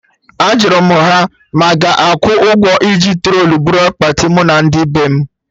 Ajụrụ m ha ma a ga-akwụ ụgwọ iji trọlị buru akpati mụ na ndị bem?